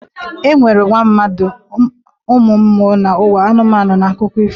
E nwere ụwa mmadụ, ụwa mmụọ na ụwa anụmanụ n'akụkọ ifo.